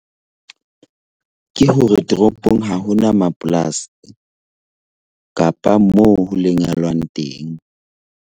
Ke hore toropong ha ho na mapolasi kapa moo ho lemelwang teng.